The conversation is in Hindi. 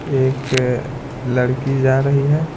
एक लड़की जा रही है।